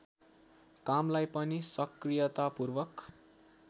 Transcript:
कामलाई पनि सक्रियतापूर्वक